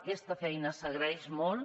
aquesta feina s’agraeix molt